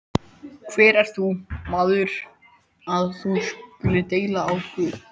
Hver ert þú, maður, að þú skulir deila á Guð?